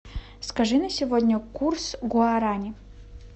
скажи на сегодня курс гуарани